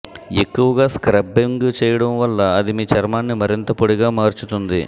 ఎక్కువగా స్ర్కబ్బింగ్ చేయడం వల్ల అది మీ చర్మాన్ని మరింత పొడిగా మార్చుతుంది